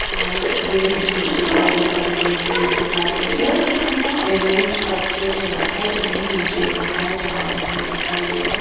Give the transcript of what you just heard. and green जो मुझे दिखाई दे रहे है बड़े बड़े पेड़ दिखाई दे रहे हैं इन्हें छत पर नहीं रखा है इन्हें नीचे ही रखा है जहां पर हमें दिखाई दे रहा--